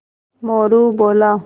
मोरू बोला